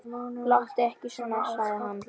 Láttu ekki svona, sagði hann.